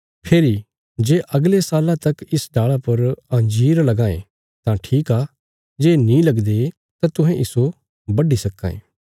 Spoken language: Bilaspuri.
फेरी जे अगले साल्ला तक इस डाल़ा पर अंजीर लगां ये तां ठीक आ जे नीं लगदे तां तुहें इस्सो बड्डी सक्कां ये